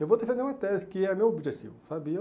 Eu vou defender uma tese, que é o meu objetivo, sabe. E eu